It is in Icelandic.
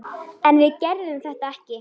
En við gerðum þetta ekki!